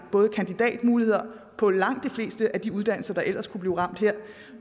kandidatmuligheder på langt de fleste af de uddannelser der ellers kunne blive ramt her